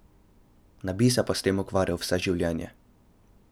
Ne bi se pa s tem ukvarjal vse življenje.